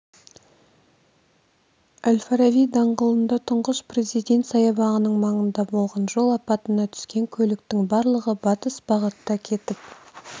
әл-фараби даңғылында тұңғыш президент саябағының маңында болған жол апатына түскен көліктің барлығы батыс бағытта кетіп